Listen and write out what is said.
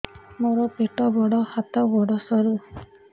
ମୋର ପେଟ ବଡ ହାତ ଗୋଡ ସରୁ